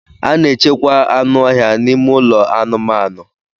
A na-echekwa anụ ọhịa n'ime ụlọ anụmanụ.